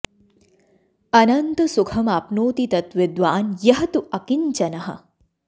अनन्तं सुखम् आप्नोति तत् विद्वान् यः तु अकिञ्चनः